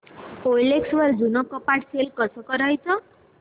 OLX वर जुनं कपाट सेल कसं करायचं